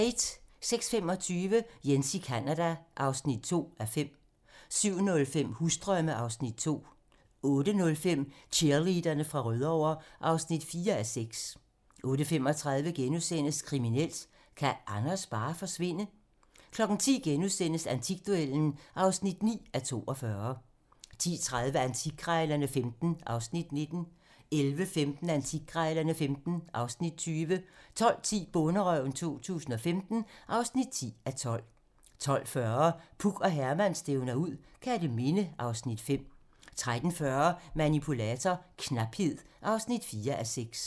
06:25: Jens i Canada (2:5) 07:05: Husdrømme (Afs. 2) 08:05: Cheerleaderne fra Rødovre (4:6) 08:35: Kriminelt: Kan Anders bare forsvinde? * 10:00: Antikduellen (9:42)* 10:30: Antikkrejlerne XV (Afs. 19) 11:15: Antikkrejlerne XV (Afs. 20) 12:10: Bonderøven 2015 (10:12) 12:40: Puk og Herman stævner ud - Kerteminde (Afs. 5) 13:40: Manipulator - knaphed (4:6)